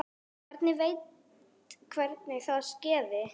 Enginn veit hvernig það skeði.